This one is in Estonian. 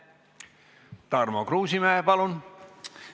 Tarmo Kruusimäe, palun!